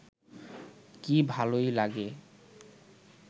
কী ভালই লাগে